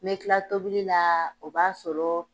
N mɛ kila tobili la, o b'a sɔrɔ